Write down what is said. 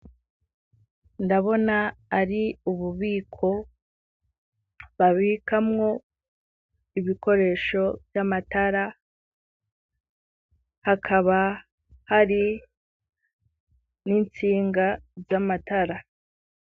Ndabona ari ububiko babikamwo ibikoresho vy'amatara, hakaba hari n'intsinga z'amatara.